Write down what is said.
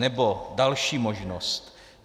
Nebo další možnost.